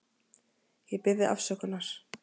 Ég bið þig afsökunar.